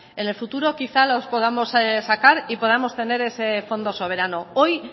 en el futuro quizá los podamos sacar y podamos tener ese fondo soberano hoy